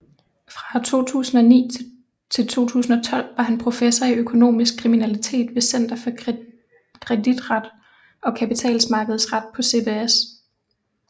Fra 2009 til 2012 var han professor i økonomisk kriminalitet ved Center for Kreditret og Kapitalmarkedsret på CBS